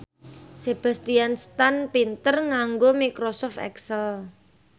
Sebastian Stan pinter nganggo microsoft excel